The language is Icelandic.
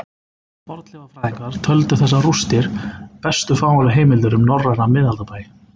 Fornleifafræðingar töldu þessar rústir bestu fáanlegu heimildir um norræna miðaldabæi